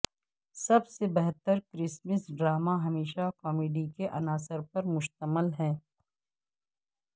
سب سے بہتر Christmas drama ہمیشہ کامیڈی کے عناصر پر مشتمل ہے